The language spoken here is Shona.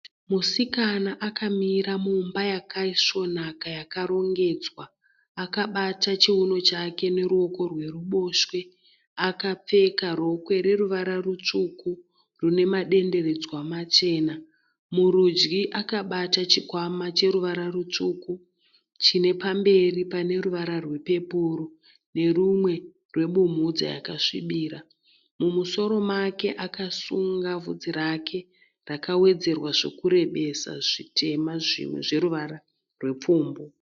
Musikana akamira mumba yakaisvonaka yakarongedzwa. Akabata chiuno chake neruoko rweruboshwe. Akapfeka rokwe reruvara rutsvuku rine madenderedzwa machena. Murudyi akabata chikwama cheruvara rutsvuku chine pamberi pane ruvara rwepepuru nerumwe rwebumhudza yakasvibira. Mumusoro make akasunga vhudzi rake rakawedzerwa zvekurebesa zvitema zvimwe zveruvara rwepfumbu.